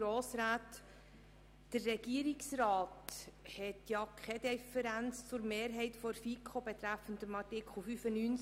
Der Regierungsrat hat keine Differenz zur Mehrheit der FiKo betreffend Artikel 95.